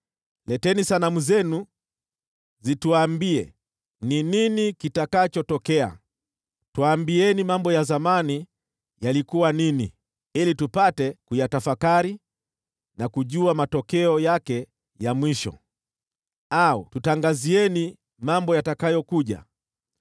“Leteni sanamu zenu zituambie ni nini kitakachotokea. Tuambieni mambo ya zamani yalikuwa nini, ili tupate kuyatafakari na kujua matokeo yake ya mwisho. Au tutangazieni mambo yatakayokuja,